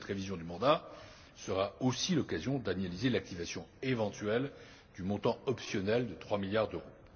Cette révision du mandat sera aussi l'occasion d'analyser l'activation éventuelle du montant optionnel de trois milliards d'euros.